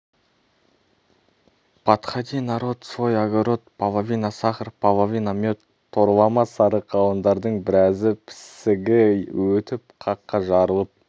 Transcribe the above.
падхади народ свой огород палавина сахар палавина мед торлама сары қауындардың біразы пісігі өтіп қаққа жарылып